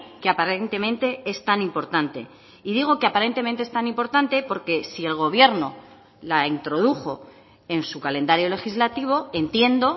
que aparentemente es tan importante y digo que aparentemente es tan importante porque si el gobierno la introdujo en su calendario legislativo entiendo